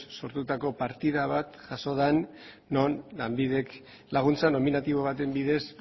sortutako partida bat jaso da non lanbidek laguntza nominatibo baten bidez